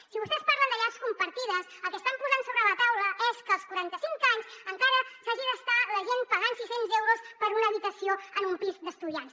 si vostès parlen de llars compartides el que estan posant sobre la taula és que als quaranta cinc anys encara s’hagi d’estar la gent pagant sis cents euros per una habitació en un pis d’estudiants